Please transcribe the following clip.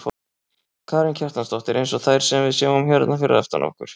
Karen Kjartansdóttir: Eins og þær sem við sjáum hérna fyrir aftan okkur?